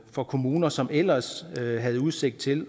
for kommuner som ellers havde havde udsigt til